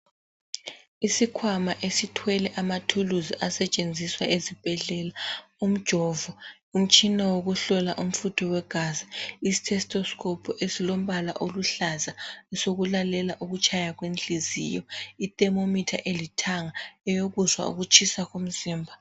Isikhwama esithwele amathuluzi asetshenziswa ezibhedlela. Umjovo, umtshina wokuhlola umfutho wegazi, ithestoskophu, esilombala oluhlaza, esokulalela ukutshaya kwenhliziyo. Ithemometha elithanga, eyokuzwa ukutshisa komzimba.